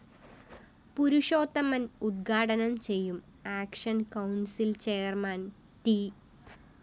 പുരുഷോത്തമന്‍ ഉദ്ഘാനം ചെയ്യും action council‍ chairman T